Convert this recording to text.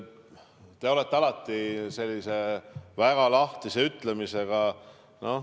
Te olete alati väga lahtise ütlemisega.